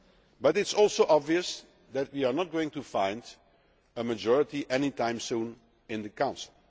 do so. But it is also obvious that we are not going to find a majority any time soon in the